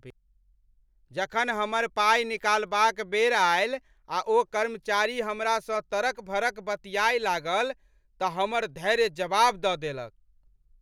जखन हमर पाइ निकालबाक बेर आयल आ ओ कर्मचारी हमरासँ तड़क भड़क बतिया लागल तँ हमर धैर्य जवाब दऽ देलक ।